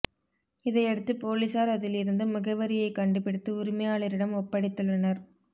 இதையடுத்து பொலிசார் அதில் இருந்து முகவரியை கண்டுபிடித்து உரிமையாளரிடம் ஒப்படைத்துள்ளனர்